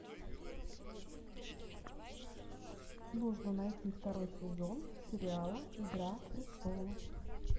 нужно найти второй сезон сериала игра престолов